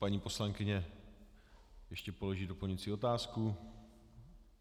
Paní poslankyně ještě položí doplňující otázku.